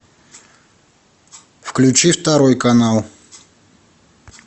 включи второй канал